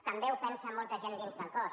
també ho pensa molta gent dins del cos